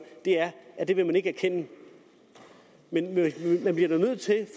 er at det vil man ikke erkende men man bliver da nødt til